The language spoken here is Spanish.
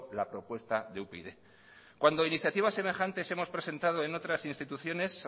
la propuesta de upyd cuando iniciativas semejantes hemos presentado en otras instituciones